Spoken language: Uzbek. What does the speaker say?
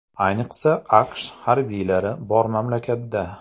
Ayniqsa AQSh harbiylari bor mamlakatda.